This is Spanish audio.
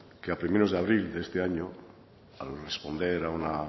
que a primeros de abril de este año al responder a una